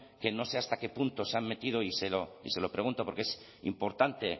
que no sé hasta qué punto se han metido y se lo pregunto porque es importante